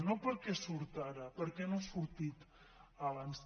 no per què surt ara per què no ha sortit abans